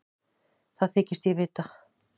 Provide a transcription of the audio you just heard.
Það þykist ég vita.